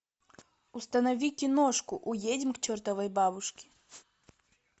установи киношку уедем к чертовой бабушке